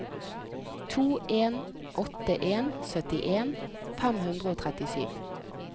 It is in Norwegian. to en åtte en syttien fem hundre og trettisju